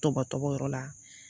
Tɔbɔtɔbɔyɔrɔ la